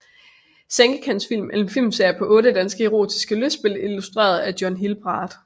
Sengekantsfilm er en filmserie på otte danske erotiske lystspil instrueret af John Hilbard